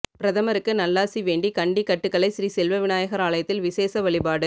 பிரதமருக்கு நல்லாசிவேண்டி கண்டி கட்டுகலை ஸ்ரீ செல்வ விநாயகர் ஆலயத்தில் விசேட வழிபாடு